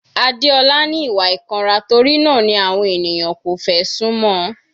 Adeola ni ìwà ìkanra torí náà ni àwọn ènìyàn kò fẹ́ sún mọ́ ọn.